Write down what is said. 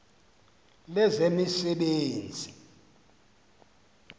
lezemisebenzi